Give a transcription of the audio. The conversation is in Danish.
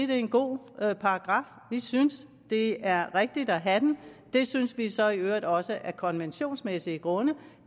det er en god paragraf vi synes det er rigtigt at have den det synes vi så i øvrigt også af konventionsmæssige grunde